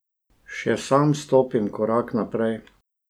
Še sam stopim korak naprej.